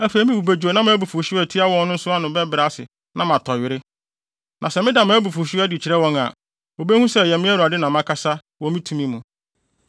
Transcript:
“Afei me bo bedwo na mʼabufuwhyew a etia wɔn no nso ano bɛbrɛ ase na matɔ were. Na sɛ meda mʼabufuwhyew adi kyerɛ wɔn a, wobehu sɛ ɛyɛ me Awurade na makasa wɔ me tumi mu.